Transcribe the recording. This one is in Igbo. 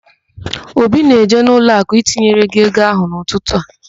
Obi na-eje ụlọakụ itinyere gị ego ahụ n'ụtụtụ a.